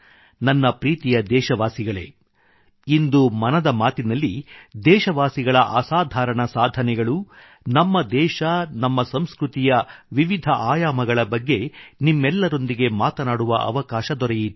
ನನ್ನ ಪ್ರೀತಿಯ ದೇಶವಾಸಿಗಳೇ ಇಂದು ಮನದ ಮಾತಿನಲ್ಲಿ ದೇಶವಾಸಿಗಳ ಅಸಾಧಾರಣ ಸಾಧನೆಗಳು ನಮ್ಮ ದೇಶ ನಮ್ಮ ಸಂಸ್ಕೃತಿಯ ವಿವಿಧ ಆಯಾಮಗಳ ಬಗ್ಗೆ ನಿಮ್ಮೆಲ್ಲರೊಂದಿಗೆ ಮಾತನಾಡುವ ಅವಕಾಶ ದೊರೆಯಿತು